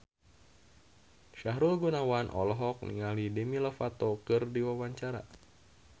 Sahrul Gunawan olohok ningali Demi Lovato keur diwawancara